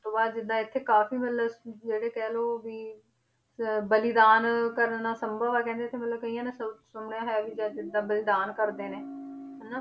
ਤੋਂ ਬਾਅਦ ਜਿੱਦਾਂ ਇੱਥੇ ਕਾਫ਼ੀ ਮਤਲਬ ਜਿਹੜੇ ਕਹਿ ਲਓ ਵੀ ਅਹ ਬਲੀਦਾਨ ਕਰਨਾ ਸੰਭਵ ਹੈ ਕਹਿੰਦੇ ਇੱਥੇ ਮਤਲਬ ਕਈਆਂ ਸ~ ਸੁਣਿਆ ਹੋਇਆ ਵੀ ਕਿ ਜਿੱਦਾਂ ਬਲੀਦਾਨ ਕਰਦੇ ਨੇ ਹਨਾ।